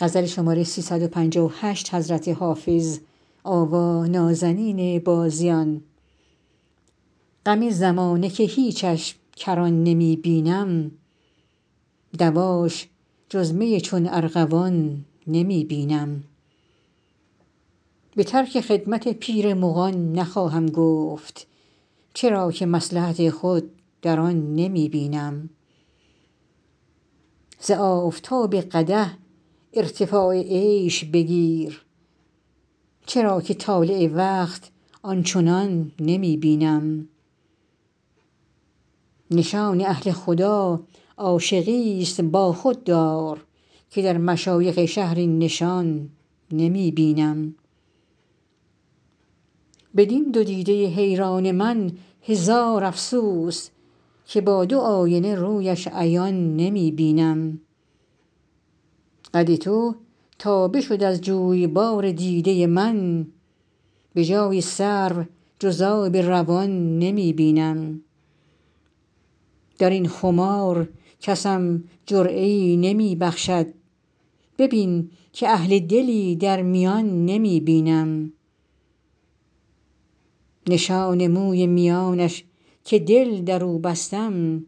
غم زمانه که هیچش کران نمی بینم دواش جز می چون ارغوان نمی بینم به ترک خدمت پیر مغان نخواهم گفت چرا که مصلحت خود در آن نمی بینم ز آفتاب قدح ارتفاع عیش بگیر چرا که طالع وقت آن چنان نمی بینم نشان اهل خدا عاشقیست با خود دار که در مشایخ شهر این نشان نمی بینم بدین دو دیده حیران من هزار افسوس که با دو آینه رویش عیان نمی بینم قد تو تا بشد از جویبار دیده من به جای سرو جز آب روان نمی بینم در این خمار کسم جرعه ای نمی بخشد ببین که اهل دلی در میان نمی بینم نشان موی میانش که دل در او بستم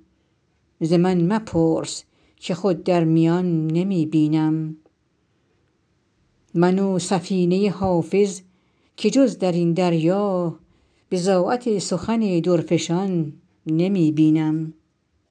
ز من مپرس که خود در میان نمی بینم من و سفینه حافظ که جز در این دریا بضاعت سخن درفشان نمی بینم